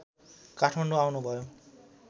काठमाडौँ आउनुभयो